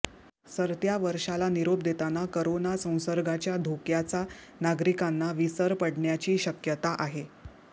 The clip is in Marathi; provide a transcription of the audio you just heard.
सरत्या वर्षाला निरोप देताना करोना संसर्गाच्या धोक्याचा नागरिकांना विसर पडण्याची शक्यता आहे